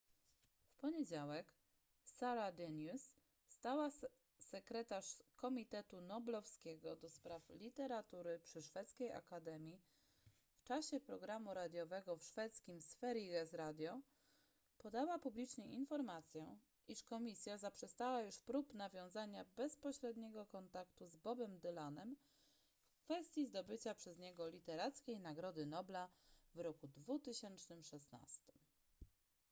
w poniedziałek sara denius stała sekretarz komitetu noblowskiego ds literatury przy szwedzkiej akademii w czasie programu radiowego w szwedzkim sveriges radio podała publicznie informację iż komisja zaprzestała już prób nawiązania bezpośredniego kontaktu z bobem dylanem w kwestii zdobycia przez niego literackiej nagrody nobla w roku 2016